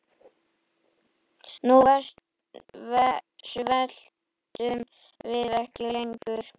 Nú sveltum við ekki lengur.